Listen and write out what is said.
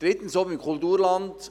Drittens: Zum Kulturland.